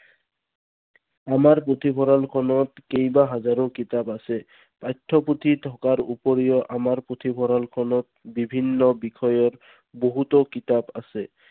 আমাৰ পুথিভঁৰালখনত কেইবা হাজাৰো কিতাপ আছে। পাঠ্য পুথি থকাৰ উপৰিও আমাৰ পুথিভঁৰাল খনত বিভিন্ন বিষয়ৰ বহুতো কিতাপ আছে।